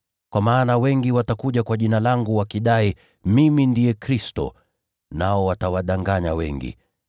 Kwa maana wengi watakuja kwa Jina langu, wakidai, ‘Mimi ndiye Kristo,’ nao watawadanganya wengi.